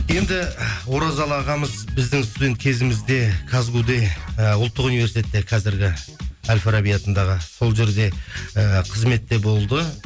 енді оразалы ағамыз біздің студент кезімізде казгу де і ұлттық университетте қазіргі әл фараби атындағы сол жерде ііі қызметте болды